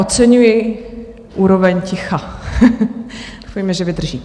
Oceňuji úroveň ticha, doufejme, že vydrží.